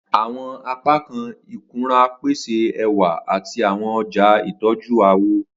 Awọn apakan ikunra pese ẹwa ati awọn ọja itọju awọ.